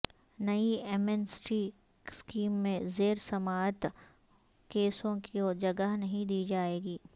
نئی amnesty scheme میں زیر سماعت کیسوں کو جگہ نہیں دی جائے گی